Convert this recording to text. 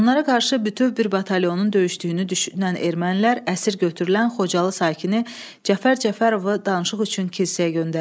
Onlara qarşı bütöv bir batalyonun döyüşdüyünü düşünən ermənilər əsir götürülən Xocalı sakini Cəfər Cəfərovu danışıq üçün kilsəyə göndərirlər.